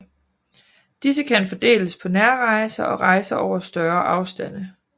Disse kan fordeles på nærrejser og rejser over større afstande